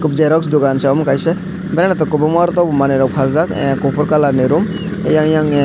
xerox dogan si omo kaisa gana toh kwbangma aro tailor manui faljak kufur kalar ni room eiang eiang ni.